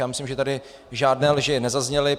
Já myslím, že tady žádné lži nezazněly.